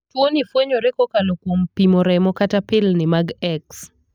Tuo ni fwenyore kokalo kuom pimo remo kata pilni mag X.